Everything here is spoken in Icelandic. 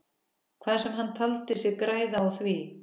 Hvað sem hann taldi sig græða á því.